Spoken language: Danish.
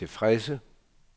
tilfredse